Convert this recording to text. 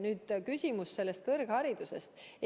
Nüüd küsimus kõrgharidusest.